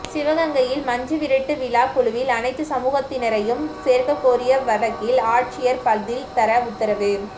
சிவகங்கையில் மஞ்சுவிரட்டு விழா குழுவில் அனைத்து சமூகத்தினரையும் சேர்க்கக்கோரிய வழக்கில் ஆட்சியர் பதில் தர உத்தரவு